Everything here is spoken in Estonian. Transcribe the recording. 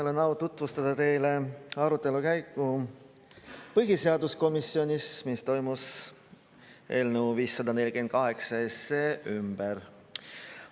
Mul on au tutvustada teile arutelu põhiseaduskomisjonis, mis toimus eelnõu 548 ümber.